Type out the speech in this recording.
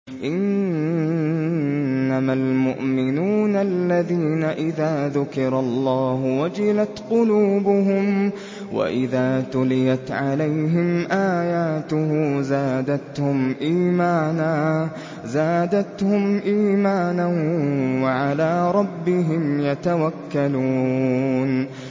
إِنَّمَا الْمُؤْمِنُونَ الَّذِينَ إِذَا ذُكِرَ اللَّهُ وَجِلَتْ قُلُوبُهُمْ وَإِذَا تُلِيَتْ عَلَيْهِمْ آيَاتُهُ زَادَتْهُمْ إِيمَانًا وَعَلَىٰ رَبِّهِمْ يَتَوَكَّلُونَ